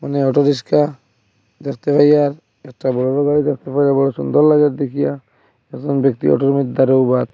এখানে auto rickshaw দেখতে পাইয়া এত বড় বড় গাড়ি দেখতে পাইয়া বড় সুন্দর লাগে দেখিয়া কজন ব্যক্তি অটোর মধ্যে ।